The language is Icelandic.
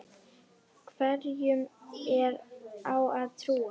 Hverjum á að trúa?